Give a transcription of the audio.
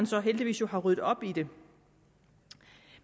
så heldigvis har ryddet op i det